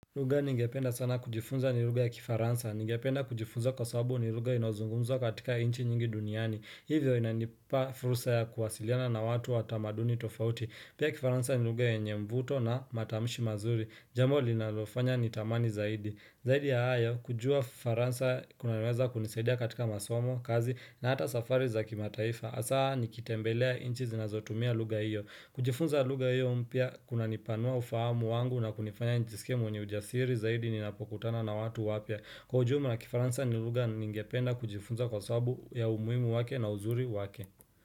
Lugha ningependa sana kujifunza ni lugha ya kifaransa. Ningependa kujifunza kwa sababu ni lugha inayozungumza katika nchi nyingi duniani. Hivyo inanipa fursa ya kuwasiliana na watu wa tamaduni tofauti. Pia kifaransa ni lugha yenye mvuto na matamshi mazuri. Jambo linalofanya ni tamani zaidi. Zaidi ya hayo, kujua ufaransa kunaweza kunisaidia katika masomo, kazi na hata safari za kimataifa hasaa nikitembelea nchi zinazotumia lugha hiyo kujifunza lugha hiyo mpya kunanipanua ufahamu wangu na kunifanya nijiskie mwenye ujasiri Zaidi ninapokutana na watu wapya Kwa ujumla kifaransa ni lugha ningependa kujifunza kwa sababu ya umuhimu wake na uzuri wake.